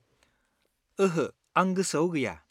ओहो, आं गोसोआव गैया।